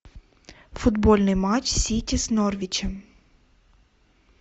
футбольный матч сити с норвичем